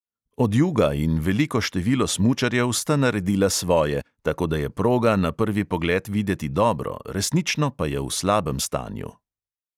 Odjuga in veliko število smučarjev sta naredila svoje, tako da je proga na prvi pogled videti dobro, resnično pa je v slabem stanju.